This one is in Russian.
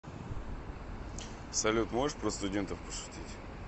салют можешь про студентов пошутить